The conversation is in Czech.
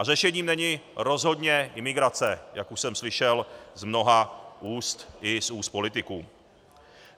A řešením není rozhodně imigrace, jak už jsem slyšel z mnoha úst, i z úst politiků.